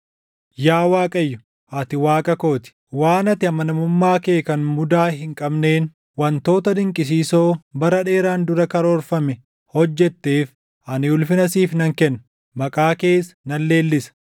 Yaa Waaqayyo, ati Waaqa koo ti; waan ati amanamummaa kee kan mudaa hin qabneen wantoota dinqisiisoo bara dheeraan dura karoorfame hojjetteef, ani ulfina siif nan kenna; maqaa kees nan leellisa.